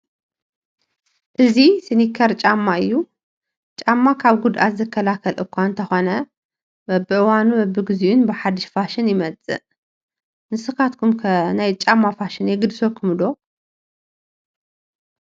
እዚ ስኒከር ጫማ እዩ፡፡ ጫማ ካብ ጉድኣት ዝከላኸል እኳ እንተኾነ በብዋኑን በቢጊዜኡን ብሓዱሽ ፋሽን ይመፅእ ፡፡ ንስኻትኩም ከ ናይ ጫማ ፋሽን የግድሰኩም ዶ?